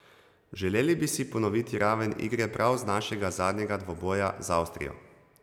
Želeli bi si ponoviti raven igre prav z našega zadnjega dvoboja z Avstrijo.